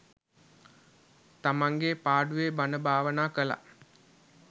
තමන්ගේ පාඩුවේ බණ භාවනා කළා.